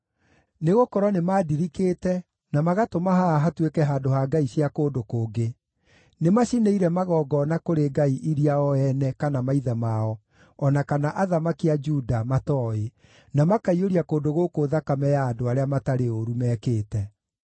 Nĩgũkorwo nĩmandirikĩte na magatũma haha hatuĩke handũ ha ngai cia kũndũ kũngĩ; nĩmacinĩire magongona kũrĩ ngai iria o ene, kana maithe mao, o na kana athamaki a Juda matooĩ, na makaiyũria kũndũ gũkũ thakame ya andũ arĩa matarĩ ũũru mekĩte.